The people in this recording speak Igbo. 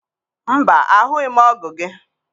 Mba, ahụghị m ọgụ gị.